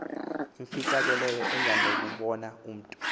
efihlakeleyo engenakubona mntu